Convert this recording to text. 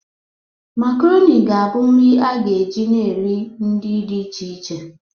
Macaroni ga-abụ nri a ga-eji na nri dị iche iche.